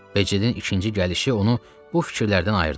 Becidin ikinci gəlişi onu bu fikirlərdən ayırdı.